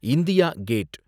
India gate